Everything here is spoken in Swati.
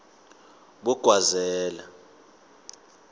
bogwazela